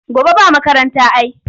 Gobe ba makaranta ai.